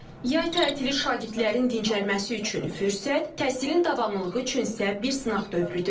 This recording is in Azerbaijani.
Yay təhili şagirdlərin dincəlməsi üçün fürsət, təhsilin davamlılığı üçünsə bir sınaq dövrüdür.